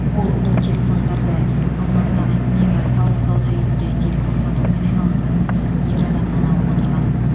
ол бұл телефондарды алматыдағы мега тау сауда үйінде телефон сатумен айналысатын ер адамнан алып отырған